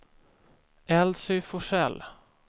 Elsy Forsell